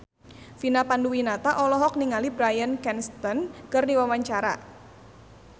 Vina Panduwinata olohok ningali Bryan Cranston keur diwawancara